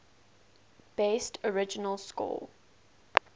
best original score